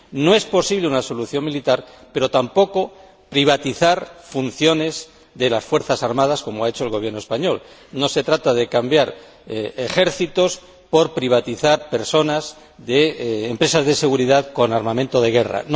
No es posible una solución militar, pero tampoco privatizar funciones de las fuerzas armadas, como ha hecho el Gobierno español. No se trata de cambiar ejércitos por personas de empresas privadas de seguridad con armamento de guerra.